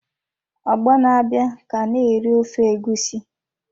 Ọgbọ na-abịa ka na-eri ofe egusi!